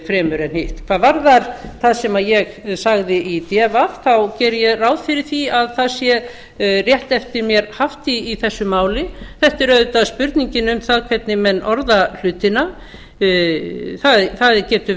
fremur en hitt hvað varðar það sem ég sagði í d v geri ég ráð fyrir því að það sé rétt eftir mér haft í þessu máli þetta er auðvitað spurningin um það hvernig menn orða hlutina það getur